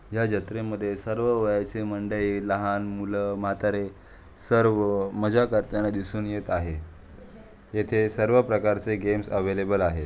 या जत्रे मध्ये सर्व वयाचे मंडळी लहान मूल म्हातारे सर्व मजा करताना दिसून येत आहे. येथे सर्व प्रकार चे गेम्स अविलेबल आहे.